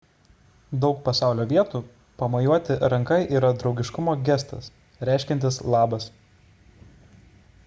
daug pasaulio vietų pamojuoti ranka yra draugiškumo gestas reiškiantis labas